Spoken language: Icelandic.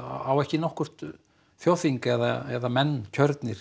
á ekki nokkurt þjóðþing eða menn kjörnir